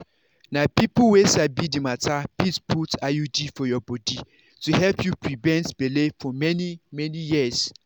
na people wey sabi the matter fit put iud for your body to help you prevent belle for many-many years.